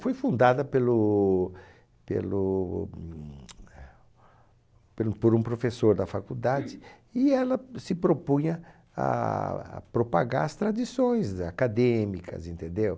Foi fundada pelo pelo humtch eh pelo por um professor da faculdade e ela se propunha a propagar as tradições acadêmicas, entendeu?